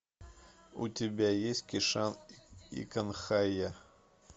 у тебя есть кишан и канхайя